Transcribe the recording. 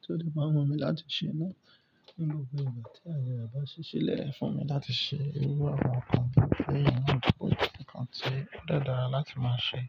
tí ó lè máa wù mí láti ṣe nínú gbogbo ìgbà tí ayẹyẹ àbáṣiṣẹ́ lè fún mi láti ṣe. Iru àwọn kan bí i pé yìí ni òpó jẹ́ ǹkan tí ó de dára láti máa ṣe.